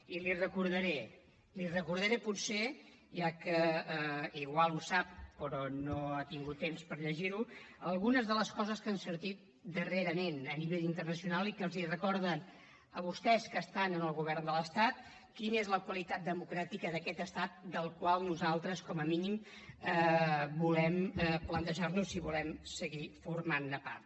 i li recordaré ja que potser ho sap però no ha tingut temps per llegir ho algunes de les coses que han sortit darrerament a nivell internacional i que els recorden a vostès que estan en el govern de l’estat quina és la qualitat democràtica d’aquest estat del qual nosaltres com a mínim volem plantejar nos si volem seguir formant ne part